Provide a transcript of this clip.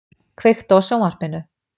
, kveiktu á sjónvarpinu.